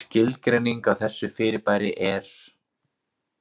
Skilgreining á þessu fyrirbæri er